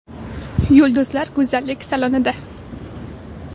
Yulduzlar go‘zallik salonida .